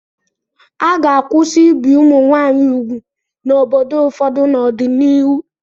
A ga-akwụsị ibi ụmụ nwaanyị úgwù n'obodo ụfọdụ n'ọdịnihu.